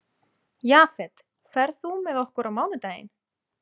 Jafet, ferð þú með okkur á mánudaginn?